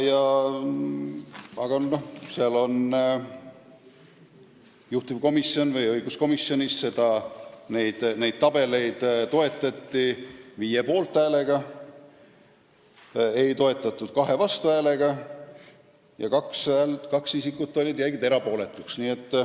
Aga juhtivkomisjonis ehk õiguskomisjonis toetati neid tabeleid 5 poolthäälega, ei toetatud 2 vastuhäälega ja 2 isikut jäid erapooletuks.